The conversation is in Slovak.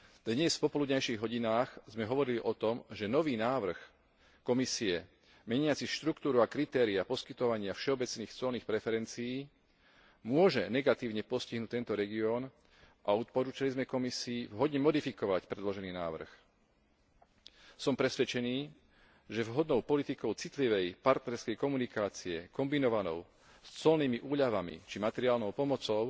Dnes v popoludňajších hodinách sme hovorili o tom, že nový návrh Komisie meniaci štruktúru a kritériá poskytovania všeobecných colných preferencií môže negatívne postihnúť tento región a odporučili sme Komisii vhodne modifikovať predložený návrh. Som presvedčený, že vhodnou politikou citlivej partnerskej komunikácie kombinovanou s colnými úľavami či materiálnou pomocou